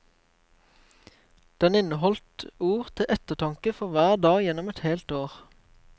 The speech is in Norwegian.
Den inneholdt ord til ettertanke for hver dag gjennom et helt år.